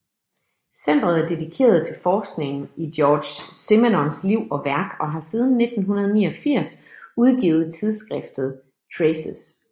Centret er dedikeret til forskningen i Georges Simenons liv og værk og har siden 1989 udgivet tidsskriftet Traces